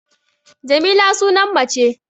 Jamila sunan mace